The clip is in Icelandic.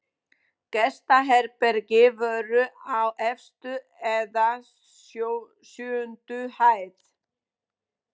Gestaherbergi voru á efstu eða sjöundu hæð.